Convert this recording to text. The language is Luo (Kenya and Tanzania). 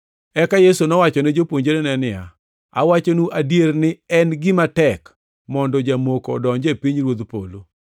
Eka Yesu nowachone jopuonjrene niya, “Awachonu adier ni en gima tek mondo jamoko odonji e pinyruodh polo.